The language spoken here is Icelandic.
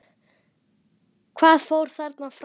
Hvað fór þarna fram?